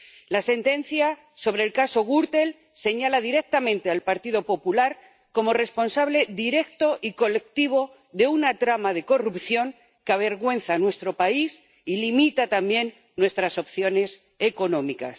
La sentencia sobre el caso Gürtel señala directamente al Partido Popular como responsable directo y colectivo de una trama de corrupción que avergüenza a nuestro país y limita también nuestras opciones económicas.